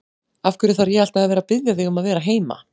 Af hverju þarf ég alltaf að biðja þig um að vera heima?